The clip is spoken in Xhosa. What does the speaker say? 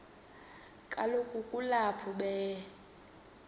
kaloku kulapho be